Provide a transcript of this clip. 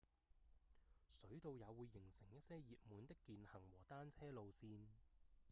水道也會形成一些熱門的健行和單車路線